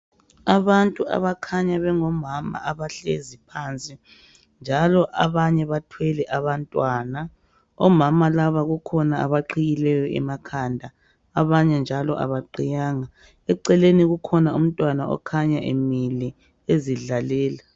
Abantu abakhanya bengomama, abahlezi phansi, njalo abanye bathwele abantwana. Omama laba bakhona abaqhiye .emakhanda. Abanye kabaqhiyanga. Eceleni kukhanya kulomntwana okhanya emile, njalo ezidlalela.